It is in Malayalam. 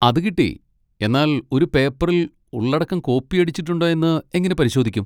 അത് കിട്ടി! എന്നാൽ ഒരു പേപ്പറിൽ ഉള്ളടക്കം കോപ്പിയടിച്ചിട്ടുണ്ടോയെന്ന് എങ്ങനെ പരിശോധിക്കും?